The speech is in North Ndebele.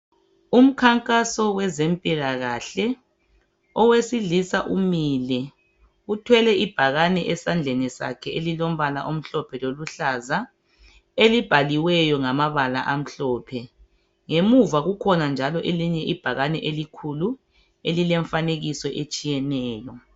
Umkhankaso wezempilakahle .Owesilisa umile uthwele ibhakane esandleni sakhe elilombala omhlophe loluhlaza elibhaliweyo ngamabala amhlophe . Ngemuva kukhona njalo elinye ibhakane elikhulu elilemfanekiso etshiyeneyo .